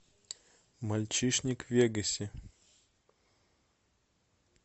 мальчишник в вегасе